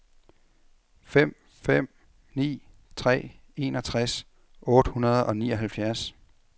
fem fem ni tre enogtres otte hundrede og nioghalvfjerds